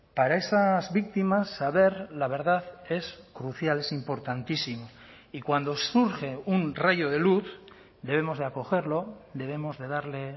para esas víctimas saber la verdad es crucial es importantísimo y cuando surge un rayo de luz debemos de acogerlo debemos de darle